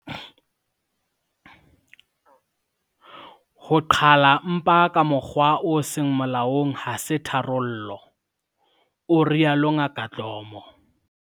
"Ho qhala mpa ka mokgwa o seng molaong ha se tharollo," o rialo Ngaka Dlomo.